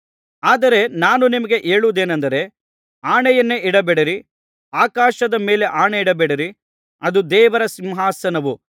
ಆದರೆ ನಾನು ನಿಮಗೆ ಹೇಳುವುದೇನಂದರೆ ಆಣೆಯನ್ನೇ ಇಡಬೇಡಿರಿ ಆಕಾಶದ ಮೇಲೆ ಆಣೆ ಇಡಬೇಡಿರಿ ಅದು ದೇವರ ಸಿಂಹಾಸನವು